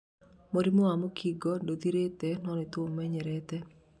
mũrĩmũ wa mũkingo ndũthirĩte - no nĩtuũmenyerete